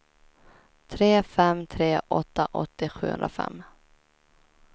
tre fem tre åtta åttio sjuhundrafem